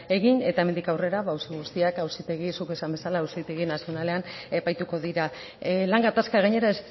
egin eta hemendik aurrera auzi guztiak zuk esan bezala auzitegi nazionalean epaituko dira lan gatazka gainera